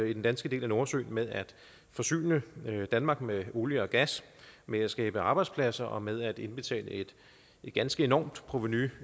i den danske del af nordsøen med at forsyne danmark med olie og gas med at skabe arbejdspladser og med at indbetale et ganske enormt provenu